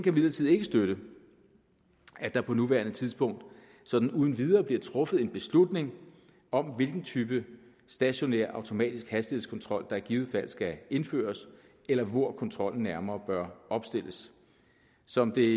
imidlertid ikke støtte at der på nuværende tidspunkt sådan uden videre bliver truffet en beslutning om hvilken type stationær automatisk hastighedskontrol der i givet fald skal indføres eller hvor kontrollen nærmere bør opstilles som det